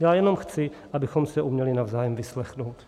Já jenom chci, abychom se uměli navzájem vyslechnout.